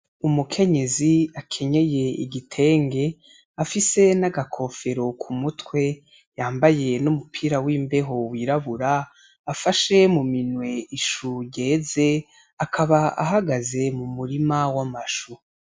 Umukenyezi akenyeye igitenge, afise n'agakofero k'umutwe yambaye n'umupira w'imbeho wirabura, afashe mu minwe ishu ryeze. Akaba ahagaze mu murima w'amashu.